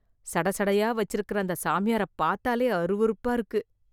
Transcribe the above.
சடைசடையா வெச்சிருக்கற அந்த சாமியாரைப் பாத்தாலே அருவருப்பா இருக்கு...